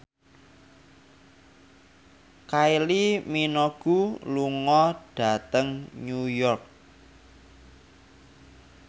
Kylie Minogue lunga dhateng York